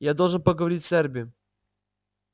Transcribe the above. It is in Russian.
я должен поговорить с эрби